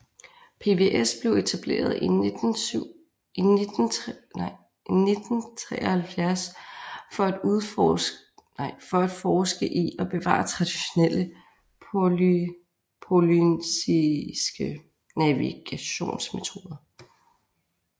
PVS blev etableret i 1973 for at forske i og bevare traditionelle polynesiske navigationsmetoder